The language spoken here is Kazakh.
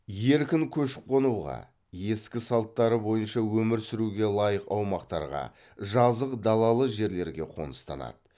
еркін көшіп қонуға ескі салттары бойынша өмір сүруге лайық аумақтарға жазық далалы жерлерге қоныстанады